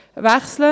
Wechseln